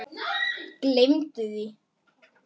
Gleymdu því!